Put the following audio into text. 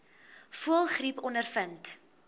voëlgriep ondervind